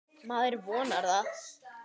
Maður vonar það.